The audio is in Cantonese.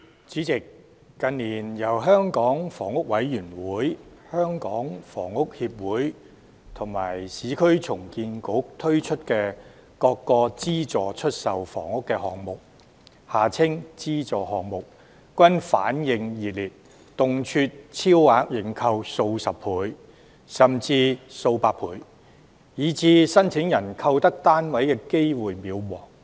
主席，近年，由香港房屋委員會、香港房屋協會及市區重建局推出的各個資助出售房屋項目均反應熱烈，動輒超額認購數十倍甚至數百倍，以致申請人購得單位的機會渺茫。